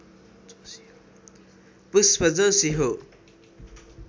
पुष्प जोशी हो